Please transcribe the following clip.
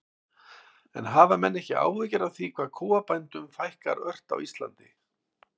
En hafa menn ekki áhyggjur af því hvað kúabændum fækkar ört á Íslandi?